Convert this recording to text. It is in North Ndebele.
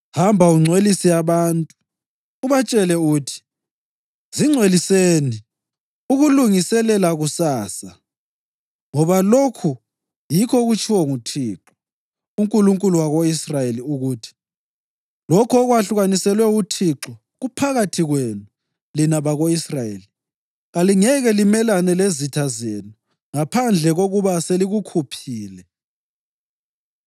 Hamba ungcwelise abantu. Ubatshele uthi, ‘Zingcweliseni ukulungiselela kusasa; ngoba lokhu yikho okutshiwo nguThixo, uNkulunkulu wako-Israyeli ukuthi: Lokho okwahlukaniselwe uThixo kuphakathi kwenu, lina bako-Israyeli. Kalingeke limelane lezitha zenu ngaphandle kokuba selikukhuphile.